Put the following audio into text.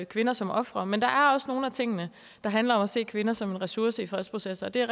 kvinder som ofre men der er også nogle af tingene der handler om at se kvinder som en ressource i fredsprocesser og det er